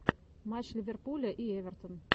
матч ливерпуля и эвертон